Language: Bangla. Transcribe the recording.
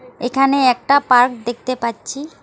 এখানে একটা পার্ক দেখতে পাচ্ছি।